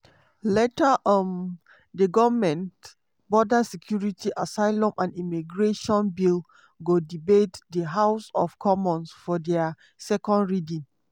later um di goment border security asylum and immigration bill go debate di house of commons for dia second reading.